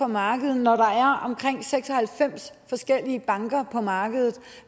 markedet når der er omkring seks og halvfems forskellige banker på markedet